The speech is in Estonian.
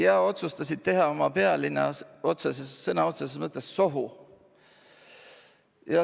Nad otsustasid teha oma pealinna sõna otseses mõttes sohu.